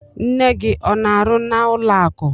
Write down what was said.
Nne gị ọ n'arụ n'ụlọ akụ?